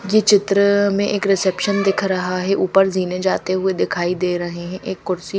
ये चित्र में एक रिसेप्शन दिख रहा है ऊपर जीने जाते हुए दिखाई दे रहे हैं एक कुर्सी--